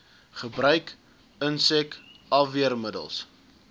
gebruik insek afweermiddels